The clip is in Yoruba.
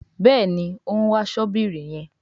Béèni òún wá Ṣọ́bìrì yén.